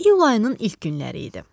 İyul ayının ilk günləri idi.